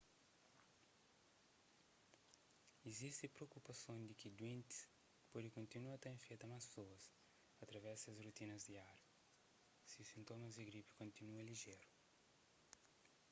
izisti propukupason di ki duentis pode kontinua ta infeta más pesoas através di ses rotinas diáriu si sintomas di gripi kontinua lijeru